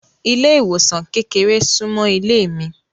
Ile-iwosan kékeré sunmọ ilé mi.